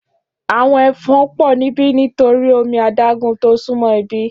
Áwòn èfòn pò nibi nitóri ómi àdágùn tó súnmò ibi